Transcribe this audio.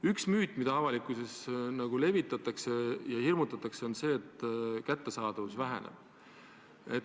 Üks müüt, mida avalikkuses levitatakse ja millega hirmutatakse, on see, et apteekide kättesaadavus väheneb.